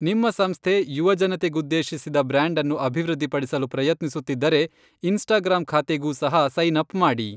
ನಿಮ್ಮ ಸಂಸ್ಥೆ ಯುವಜನತೆಗುದ್ದೇಶಿಸಿದ ಬ್ರಾಂಡ್ ಅನ್ನು ಅಭಿವೃದ್ಧಿಪಡಿಸಲು ಪ್ರಯತ್ನಿಸುತ್ತಿದ್ದರೆ, ಇನ್ಸ್ಟಾಗ್ರಾಮ್ ಖಾತೆಗೂ ಸಹ ಸೈನ್ ಅಪ್ ಮಾಡಿ.